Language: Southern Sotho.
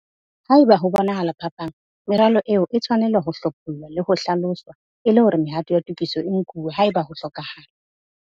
Haeba ho bonahala phapang, meralo eo e tshwanela ho hlophollwa le ho hlaloswa e le hore mehato ya tokiso e nkuwe haeba ho hlokahala.